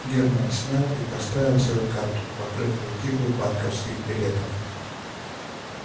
германн снял и поставил свою карту покрыв её кипой банковых билетов